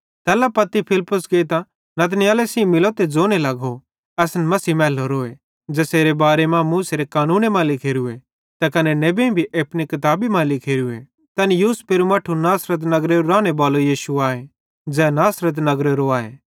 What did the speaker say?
तैल्ला पत्ती फिलिप्पुस गेइतां नतनएले सेइं मिलो त ज़ोने लगो असन मसीह मैलोरोए ज़ेसेरे बारे मां बड़े पेइले मूसेरे कानूने मां लिखोरोए त कने नेबेईं भी अपनी किताबी मां लिखोरोए तै यूसुफेरू मट्ठू नासरत नगरे बालो यीशु आए ज़ै नासरत नगरेरो आए